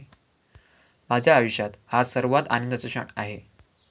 माझ्या आयुष्यात हा सर्वात आनंदाचा क्षण आहे.